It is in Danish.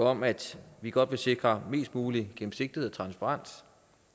om at vi godt vil sikre mest mulig gennemsigtighed og transparens